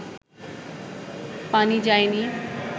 পানি যায়নি